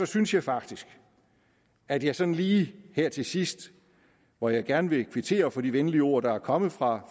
synes jeg faktisk at jeg sådan lige her til sidst hvor jeg gerne vil kvittere for de venlige ord der er kommet fra